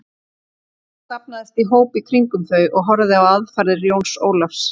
Fólk safnaðist í hóp í kringum þau og horfði á aðfarir Jóns Ólafs.